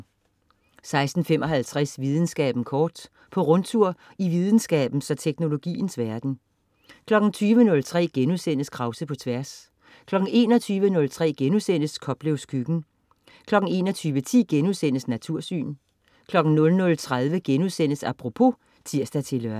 16.55 Videnskaben kort. På rundtur i videnskabens og teknologiens verden 20.03 Krause på Tværs* 21.03 Koplevs Køkken* 21.10 Natursyn* 00.30 Apropos* (tirs-lør)